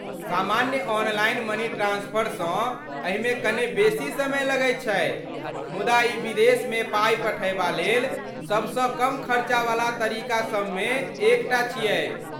सामान्य online money transfer सँ एहिमे कने बेसी समय लगैत छै मुदा ई विदेशमे पाइ पठयबा लेल सभसँ कम खर्चावला तरीकासभमे एकटा छियै।